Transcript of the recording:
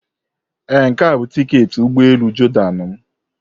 Ee, nke a bụ tiketi ụgbọ elu Jordan m.